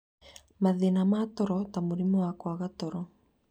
Mathĩna ma toro ta mũrimũ wa kwaga toro,